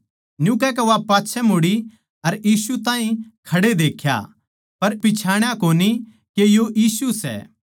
न्यू कहकै वा पाच्छै मुड़ी अर यीशु ताहीं खड़े देख्या पर पिच्छाण्या कोनी के यो यीशु सै